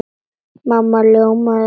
Mamma ljómaði af gleði.